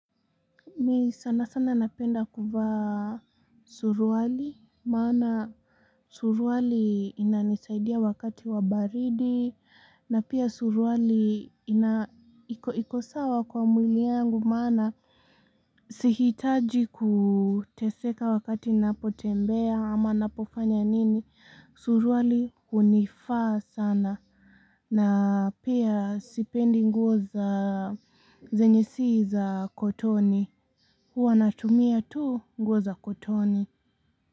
Mi sana sana napenda kufa suruwali maana suruwali inanisaidia wakati wabaridi na pia suruwali ikosawa kwa mwili yangu maana Sihitaji kuteseka wakati napotembea ama napofanya nini suruwali hunifaa sana na pia sipendi nguo za zenye si za kotoni Huwa natumia tu nguo za kutoni.